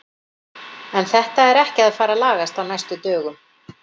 En þetta er ekki að fara að lagast á næstu dögum.